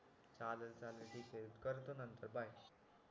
चालेल चालेल ठीके करतो नतंर बाय